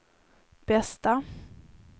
bästa